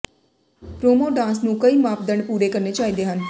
promo dance ਨੂੰ ਕਈ ਮਾਪਦੰਡ ਪੂਰੇ ਕਰਨੇ ਚਾਹੀਦੇ ਹਨ